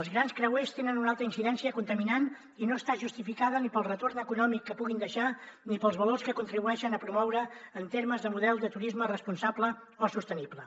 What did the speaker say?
els grans creuers tenen una alta incidència contaminant i no està justificada ni pel retorn econòmic que puguin deixar ni pels valors que contribueixen a promoure en termes de model de turisme responsable o sostenible